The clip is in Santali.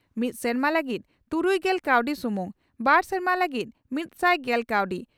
ᱢᱤᱫ ᱥᱮᱨᱢᱟ ᱞᱟᱹᱜᱤᱫ ᱛᱩᱨᱩᱭᱜᱮᱞ ᱠᱟᱣᱰᱤ ᱥᱩᱢᱩᱝ ᱾ᱵᱟᱨ ᱥᱮᱨᱢᱟ ᱞᱟᱹᱜᱤᱫ ᱢᱤᱛᱥᱟᱭ ᱜᱮᱞ ᱠᱟᱣᱰᱤ